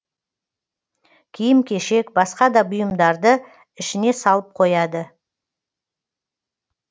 киім кешек басқа да бұйымдарды ішіне салып қояды